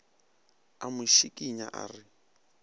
a mo šikinya a re